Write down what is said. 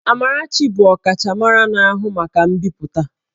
Amarachi bụ ọkachamara na-ahụ maka mbipụta